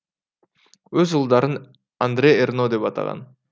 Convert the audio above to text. өз ұлдарын андре эрно деп атаған